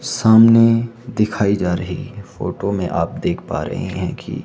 सामने दिखाई जा रही फोटो में आप देख पा रहे हैं कि--